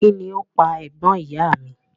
Kín ni ó pa ẹ̀gbọ́n ìyá a mi?